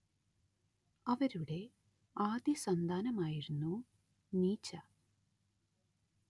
അവരുടെ ആദ്യസന്താനമായിരുന്നു നീച്ച